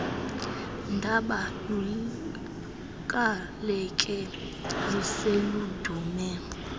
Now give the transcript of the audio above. daba lukakeli seludume